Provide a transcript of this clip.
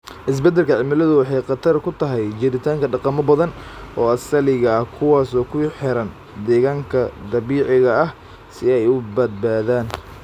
Isbeddelka cimiladu waxay khatar ku tahay jiritaanka dhaqamo badan oo asaliga ah kuwaas oo ku xiran deegaanka dabiiciga ah si ay u badbaadaan.